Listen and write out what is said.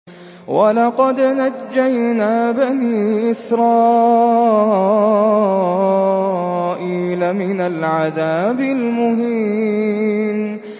وَلَقَدْ نَجَّيْنَا بَنِي إِسْرَائِيلَ مِنَ الْعَذَابِ الْمُهِينِ